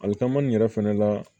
Ali taama nin yɛrɛ fɛnɛ la